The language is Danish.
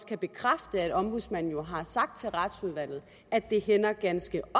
kan bekræfte at ombudsmanden jo har sagt til retsudvalget at det hænder ganske